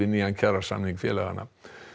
nýjan kjarasamning félaganna